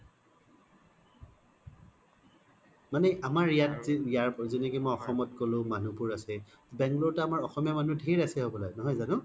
মানে আমাৰ ইয়াত জে কলো জেনেকে মই অসমত ক্'লো মানুহ বোৰ আছে bangalore ত আমাৰ অসমীয়া মানুহ ধেৰ আছে হ্'বলা নহয় জানু